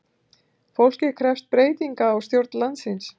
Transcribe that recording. Fólkið krefst breytinga á stjórn landsins